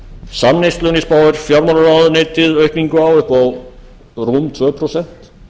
samneyslunni spáir fjármálaráðuneytið aukningu á upp á rúm tvö prósent